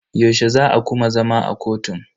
Yaushe za a kuma zama a kotun?